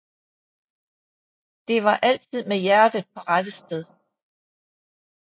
Det var altid med hjertet på rette sted